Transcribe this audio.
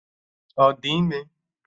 Ọ di ime?